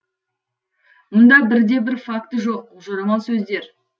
мұнда бір де бір факты жоқ жорамал сөздер